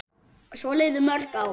Svo liðu mörg ár.